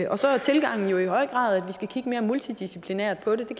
og så er tilgangen jo i høj grad at vi skal kigge mere multidisciplinært på det det